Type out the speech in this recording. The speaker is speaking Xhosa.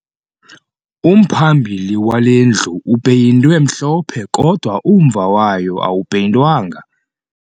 Umphambili wale ndlu upeyintwe mhlophe kodwa umva wayo awupeyintwanga